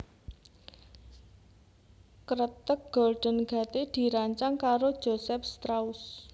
Kreteg Golden Gate dirancang karo Joseph Strauss